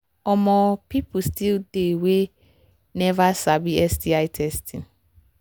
um people still they we never sabi sti testing